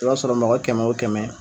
I b'a sɔrɔ mɔgɔ kɛmɛ o kɛmɛ.